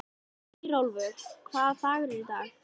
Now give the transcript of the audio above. sem í andarslitrunum vildi að heimurinn færist með honum.